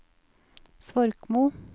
Svorkmo